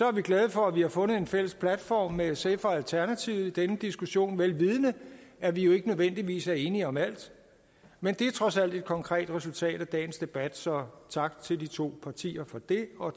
er glade for at vi har fundet en fælles platform med sf og alternativet i denne diskussion vel vidende at vi jo ikke nødvendigvis er enige om alt men det er trods alt et konkret resultat af dagens debat så tak til de to partier for det og